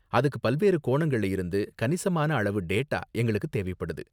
அதுக்கு பல்வேறு கோணங்கள்ள இருந்து கணிசமான அளவு டேட்டா எங்களுக்கு தேவைப்படுது.